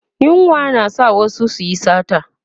yunwa na sa wasu su Yi sata